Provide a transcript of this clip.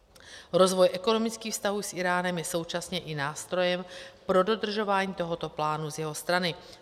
Rozvoj ekonomických vztahů s Íránem je současně i nástrojem pro dodržování tohoto plánu z jeho strany.